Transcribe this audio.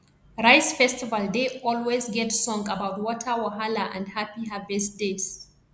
rice festival dey always get song about water wahala and happy harvest days